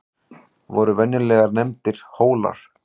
voru venjulega nefndir hólar